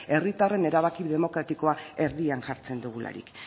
herritarren erabaki demokratikoa erdian jartzen dugularik